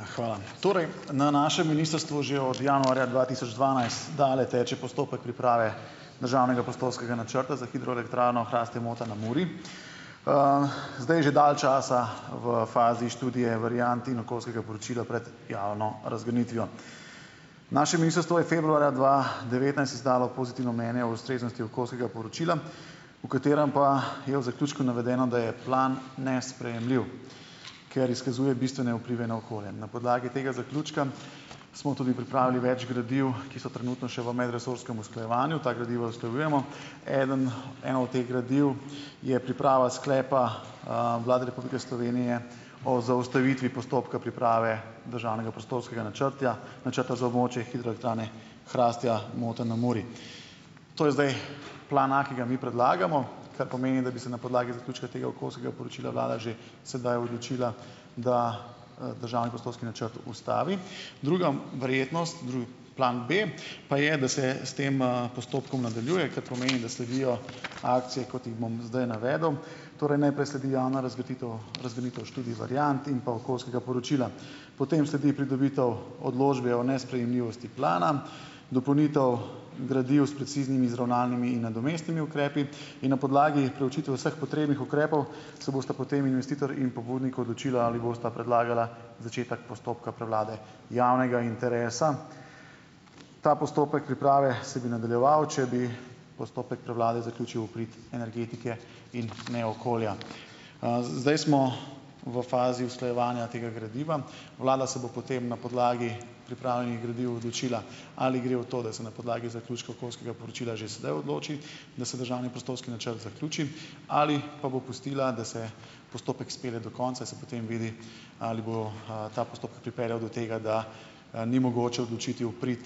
Ja, hvala. Torej, na našem ministrstvu že od januarja dva tisoč dvanajst dalje teče postopek priprave državnega prostorskega načrta za hidroelektrarno Hrastje-Mota na Muri. zdaj je že dalj časa v fazi študije variant in okoljskega poročila pred javno razgrnitvijo. Naše ministrstvo je februarja dva devetnajst izdalo pozitivno mnenje o ustreznosti okoljskega poročila, v katerem pa je v zaključku navedeno, da je plan nesprejemljiv, ker izkazuje bistvene vplive na okolje. Na podlagi tega zaključka smo tudi pripravili več gradiv, ki so trenutno še v medresorskem usklajevanju. Ta gradiva usklajujemo. Eden, eno od teh gradiv je priprava sklepa, Vlade Republike Slovenije o zaustavitvi postopka priprave državnega prostorskega načrtja načrta za območje hidroelektrarne Hrastje-Mota na Muri. To je zdaj plan a, ki ga mi predlagamo. Kar pomeni, da bi se na podlagi zaključka tega okoljskega poročila vlada že sedaj odločila, da državni prostorski načrt ustavi. Druga verjetnost plan b, pa je, da se s tem, postopkom nadaljuje, kar pomeni, da sledijo akcije, kot jih bom zdaj navedel. Torej najprej sledi javna študij variant in pa okoljskega poročila, potem sledi pridobitev odločbe o nesprejemljivosti plana, dopolnitev gradiv s preciznimi izravnalnimi in nadomestnimi ukrepi in na podlagi preučitve vseh potrebnih ukrepov se bosta potem investitor in pobudnik odločila, ali bosta predlagala začetek postopka prevlade javnega interesa. Ta postopek priprave se bi nadaljeval, če bi postopek prevlade zaključil v prid energetike in ne okolja. Zdaj smo v fazi usklajevanja tega gradiva. Vlada se bo potem na podlagi pripravljenih gradiv odločila, ali gre v to, da se na podlagi zaključka okoljskega poročila že sedaj odloči, da se državni prostorski načrt zaključi, ali pa bo pustila, da se postopek spelje do konca in se potem vidi, ali bo, ta postopek pripeljal do tega, da, ni mogoče odločiti v prid,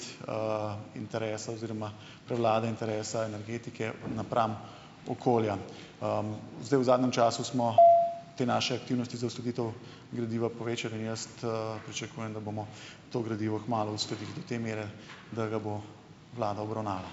interesa oziroma prevlade interesa energetike napram okolja. Zdaj v zadnjem času smo te naše aktivnosti za uskladitev gradiva povečali in jaz, pričakujem, da bomo to gradivo kmalu uskladili do te mere, da ga bo vlada obravnavala.